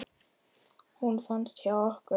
Hún fannst hjá okkur.